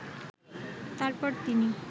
তারপর তিনি